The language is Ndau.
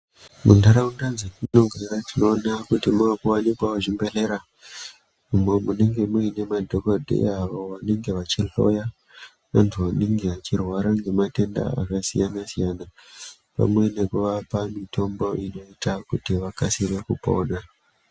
Mundaraunda dzatinogara tinoona kuti maakuwanikwawo zvibhedhlera, umo munenge muine madhogodheya avo vanenge vachihloya vantu vanenge vachirwara ngematenda akasiyana-siyana, pamwe nekuvapa mitombo inoita kuti vakasira kupona.